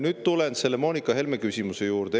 Nüüd tulen Helle-Moonika Helme küsimuse juurde.